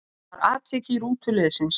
Það var atvik í rútu liðsins.